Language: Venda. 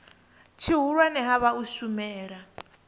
tshihulwane ha vha u shumela